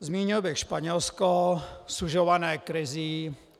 Zmínil bych Španělsko sužované krizí.